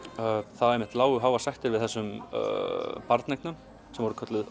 það lágu háar sektir við þessum barneignum sem voru kölluð